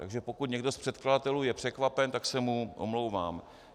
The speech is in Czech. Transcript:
Takže pokud někdo z předkladatelů je překvapen, tak se mu omlouvám.